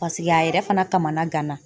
Paseke a yɛrɛ fana kamana gana.